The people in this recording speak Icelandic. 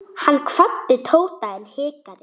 Hann kvaddi Tóta en hikaði.